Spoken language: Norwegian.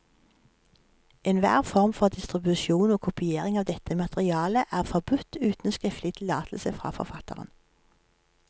Enhver form for distribusjon og kopiering av dette materiale er forbudt uten skriftlig tillatelse fra forfatteren.